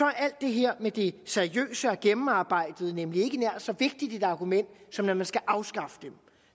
er alt det her med det seriøse og gennemarbejdede nemlig ikke nær så vigtigt et argument som når man skal afskaffe dem